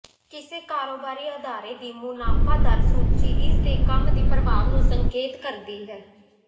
ਕਿਸੇ ਕਾਰੋਬਾਰੀ ਅਦਾਰੇ ਦੀ ਮੁਨਾਫ਼ਾ ਦਰ ਸੂਚੀ ਇਸਦੇ ਕੰਮ ਦੀ ਪ੍ਰਭਾਵ ਨੂੰ ਸੰਕੇਤ ਕਰਦੀ ਹੈ